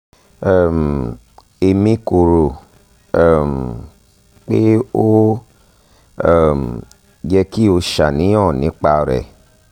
um emi ko ro um pe o um yẹ ki o ṣàníyàn nipa rẹ